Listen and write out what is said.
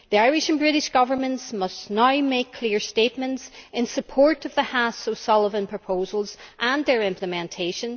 The Irish and British Governments must now make clear statements in support of the Haass O'Sullivan proposals and their implementation.